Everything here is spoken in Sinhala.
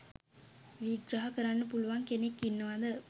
විග්‍රහ කරන්න පුලුවන් කෙනෙක් ඉන්නවද?